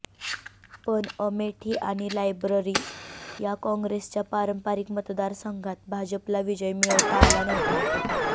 पण अमेठी आणि रायबरेली या काँग्रेसच्या पारंपरिक मतदारसंघात भाजपला विजय मिळवता आला नव्हता